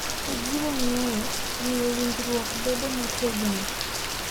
Ojiwo ng’eyo, omiyo winjruok bedo motegno,